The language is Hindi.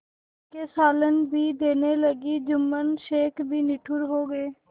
तीखे सालन भी देने लगी जुम्मन शेख भी निठुर हो गये